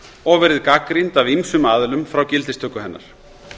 og verið gagnrýnd af ýmsum aðilum frá gildistöku hennar